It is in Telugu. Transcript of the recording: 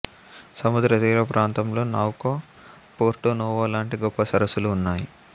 సముద్రతీర ప్రాంతంలో నోకౌ పోర్టోనోవో లాంటి గొప్ప సరస్సులు ఉన్నాయి